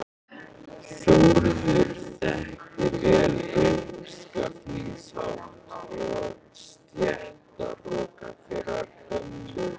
Þórður þekkti vel uppskafningshátt og stéttahroka þeirrar gömlu